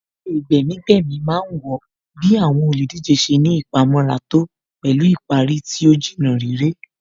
Eré gbẹ̀mí-gbẹ̀mí má ń wọ bí àwọn olùdíje ṣe ní ìpamọ́ra tó pẹ̀lú ìparí tí ó Jìnnà réré